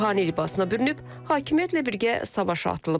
Ruhani libasına bürünüb, hakimiyyətlə birgə savaşa atılıb.